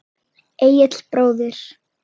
Egill bróðir.